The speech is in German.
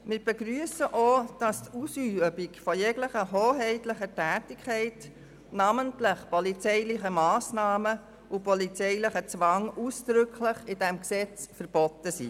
Wir begrüssen auch, dass die Ausübung jeglicher hoheitlicher Tätigkeiten, namentlich das Ergreifen polizeilicher Massnahmen und das Ausüben polizeilichen Zwangs, ausdrücklich durch dieses Gesetz verboten werden.